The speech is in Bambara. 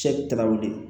Cɛsiri tɛ ka wuli